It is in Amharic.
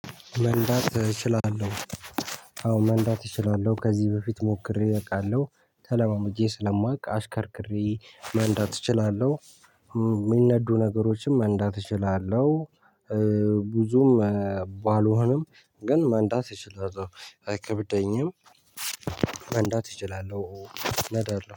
መንዳት እችላለሁ አዎ መንዳት እችላለሁ ከዚህ በፊት ሞክሬ አቃለሁ ተለማምጄ ስለማውቅ አሽከርክሬ መንዳት እችላለሁ። ሚነዱ ነገሮችም መንዳት እችላለሁ። ብዙም ባልሆንም ግን መንዳት እችላለሁ አይከብደኝም። መንዳት እችላለሁ እነዳለሁ